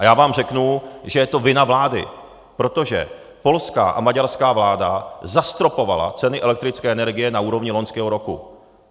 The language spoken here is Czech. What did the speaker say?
A já vám řeknu, že je to vina vlády, protože polská a maďarská vláda zastropovala ceny elektrické energie na úrovni loňského roku.